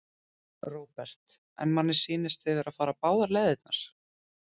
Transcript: Róbert: En manni sýnist þið vera að fara báðar leiðirnar?